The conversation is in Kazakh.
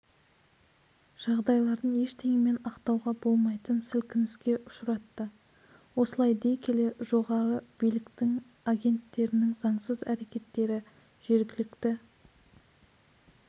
жағдайларын ештеңемен ақтауға болмайтын сілкініске ұшыратты осылай дей келе жоғарғы билік агенттерінің заңсыз әрекеттері жергілікті